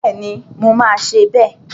Bẹ́ẹ̀ni, mo máa ṣe bẹ́ẹ̀